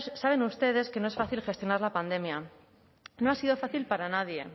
saben ustedes que no es fácil gestionar la pandemia no ha sido fácil para nadie